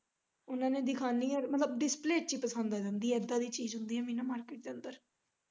ਉਨਾਂ ਨੇ ਦਿਖਾਣੀ ਆ ਮਤਲਬ display ਚ ਹੀ ਪਸੰਦ ਆ ਜਾਂਦੀ ਐ ਇੱਦਾਂ ਦੀ ਚੀਜ ਹੁੰਦੀ ਐ ਮੀਨਾ market ਦੇ ਅੰਦਰ।